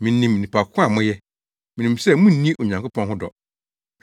Minim nnipa ko a moyɛ. Minim sɛ munni Onyankopɔn ho dɔ.